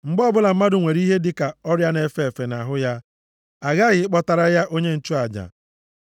“Mgbe ọbụla mmadụ nwere ihe dị ka ọrịa na-efe efe nʼahụ ya, a ghaghị ịkpọtara ya onye nchụaja.